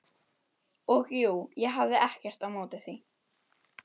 Og jú, ég hafði ekkert á móti því.